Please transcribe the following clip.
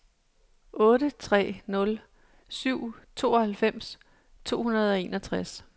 otte tre nul syv tooghalvfems to hundrede og enogtres